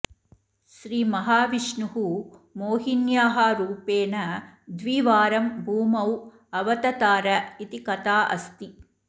श्रीमहाविष्णुः मोहिन्याः रूपेण द्विवारं भूमौ अवततार इति कथा अस्ति